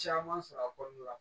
Caman sɔrɔ a kɔnɔna la